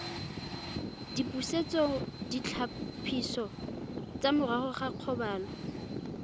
dipusetsoditlhapiso tsa morago ga kgobalo